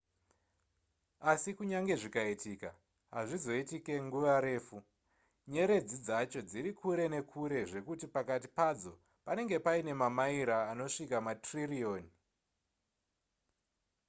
asi kunyange zvikaitika hazvizoitike nguva refu nyeredzi dzacho dziri kure nekure zvekuti pakati padzo panenge paine mamaira anosvika matririyoni